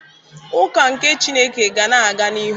Ụka nke Chineke ga na-aga n'ihu